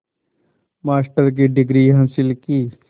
master की degree हासिल की